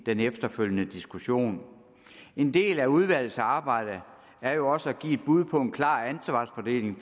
den efterfølgende diskussion en del af udvalgets arbejde er jo også et give et bud på en klar ansvarsfordeling